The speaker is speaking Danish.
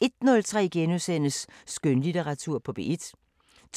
01:03: Skønlitteratur på P1 * 02:03: